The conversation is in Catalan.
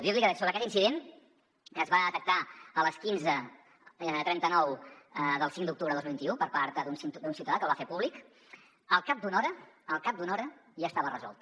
dir li que sobre aquest incident que es va detectar a les quinze trenta nou del cinc d’octubre de dos mil vint u per part d’un ciutadà que el va fer públic al cap d’una hora al cap d’una hora ja estava resolt